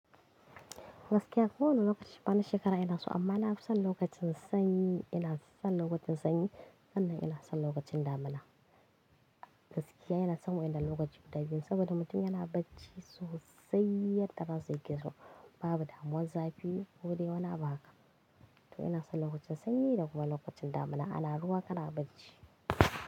Gaskiya ko wane lokaci bana shekara ina so, amma ina son lokacin sanyi, ina son lokacin sanyi, sannan ina son lokacin damuna. Gaskiya yana son mu ina lokaci guda biyu saboda mutum yana bacci sosai, yadda rana zai gizo babu damuwar zafi ko dai wani abu haka. To ina son lokacin sanyi da kuma lokacin damuna ana ruwa kana bacci.